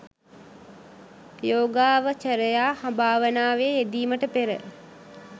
යෝගාවචරයා භාවනාවේ යෙදීමට පෙර